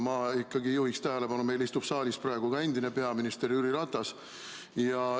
Ma juhin tähelepanu sellele, et meil istub saalis praegu ka endine peaminister Jüri Ratas.